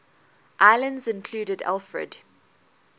islands included alfred